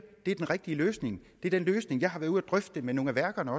det er den rigtige løsning det er også den løsning jeg har været ude at drøfte på nogle af værkerne